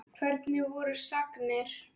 Hvernig voru sagnir?